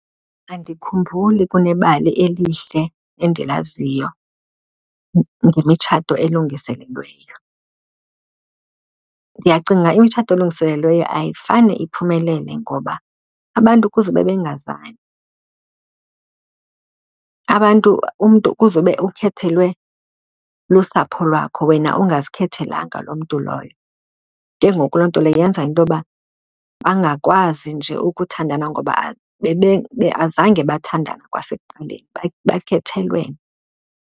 Andikhumbuli kunebali elihle endilaziyo ngemitshato elungiselelweyo. Ndiyacinga imitshato elungiselelweyo ayifane iphumelele ngoba abantu kuze ube bengazani. Abantu umntu kuze ube ukhethelwe lusapho lwakho, wena ongazikhathalelanga loo mntu loyo. Ke ngoku loo nto leyo yenza into yoba bangakwazi nje ukuthandana ngoba azange bathandane kwasekuqaleni, bakhethelwene.